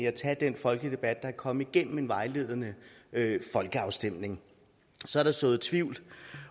at tage den folkelige debat og komme igennem en vejledende folkeafstemning så er der sået tvivl